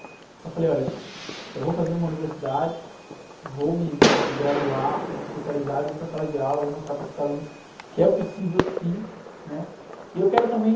Então eu falei, olha, eu vou fazer uma universidade, vou me, me, me graduar, vou me especializar, vou para a sala de aula, vou mostrar para esses alunos que é possível sim, né? E eu quero também...